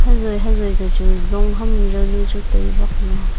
hazoi hazoi tochu long ham yawnu chu tai bakley.